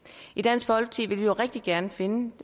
i dansk folkeparti vil vi jo rigtig gerne finde